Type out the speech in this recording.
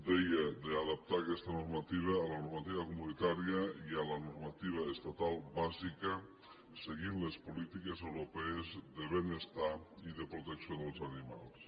deia d’adaptar aquesta normativa a la normativa comunitària i a la normativa estatal bàsica seguint les polítiques europees de benestar i de protecció dels animals